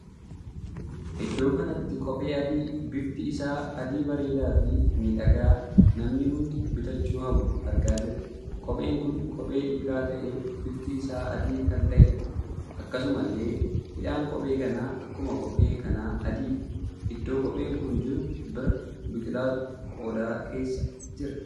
Iddoo kanatti kophee adii bifti isaa adii bareedaa fi miidhagaa namni hundi bitachuu hawwu argaa jirra. kopheen kun kophee dhiiraa tahee bifti isaa adii kan taheedha. akkasumallee hidhaan kophee kanaa akkuma kophee kanaa adiidha. iddoo kopheen kun jiru bira biqilaatu qodaa keessa jira.